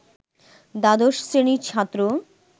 দ্বাদশ শ্রেণির ছাত্র